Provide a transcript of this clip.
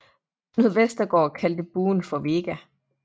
Knud Vestergaard kaldte buen for VEGA